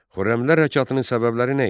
Xürrəmilər Hərəkatının səbəbləri nə idi?